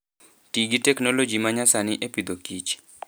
Ti gi teknoloji ma nyasani e Agriculture and Food.